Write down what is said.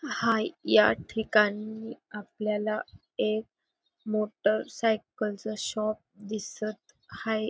हाय या ठिकाणी आपल्याला एक मोटरसायकलच शॉप दिसत हाये.